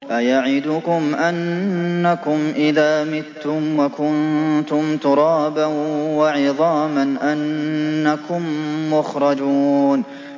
أَيَعِدُكُمْ أَنَّكُمْ إِذَا مِتُّمْ وَكُنتُمْ تُرَابًا وَعِظَامًا أَنَّكُم مُّخْرَجُونَ